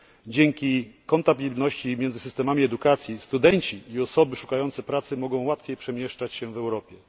Dzięki kompatybilności między systemami edukacji studenci i osoby szukające pracy mogą łatwiej przemieszczać się w Europie.